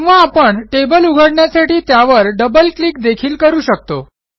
किंवा आपण टेबल उघडण्यासाठी त्यावर डबल क्लिक देखील करू शकतो